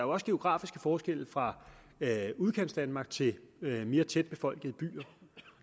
også geografiske forskelle fra udkantsdanmark til mere tætbefolkede byer og